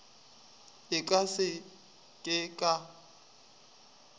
e ka se ke ka